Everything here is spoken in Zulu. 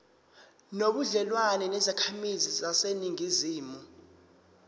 nobudlelwane nezakhamizi zaseningizimu